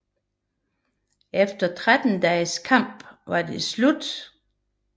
Efter 13 dages kamp var det slut